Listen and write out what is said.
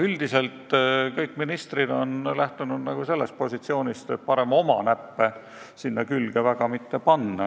Üldiselt on kõik ministrid lähtunud sellisest positsioonist, et parem mitte väga oma näppe sinna külge panna.